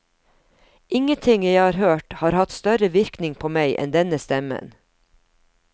Ingenting jeg har hørt har hatt større virkning på meg enn denne stemmen.